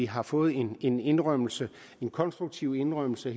har fået en en indrømmelse en konstruktiv indrømmelse